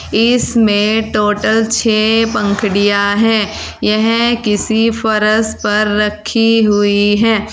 इसमें टोटल छे पंखड़िया है यह किसी फर्श पर रखी हुई है।